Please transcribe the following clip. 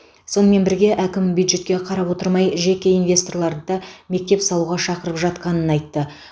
сонымен бірге әкім бюджетке қарап отырмай жеке инвесторларды да мектеп салуға шақырып жатқанын айтты